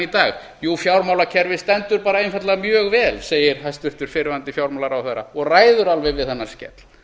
dag jú fjármálakerfið stendur bara einfaldlega mjög vel segir hæstvirtur fyrrverandi fjármálaráðherra og ræður alveg við þennan skell